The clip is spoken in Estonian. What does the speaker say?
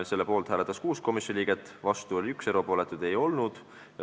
Selle poolt hääletas 6 komisjoni liiget, vastuhääli oli 1, erapooletuid ei olnud.